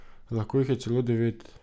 Lahko jih je celo devet.